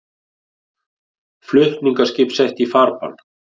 Flutningaskip sett í farbann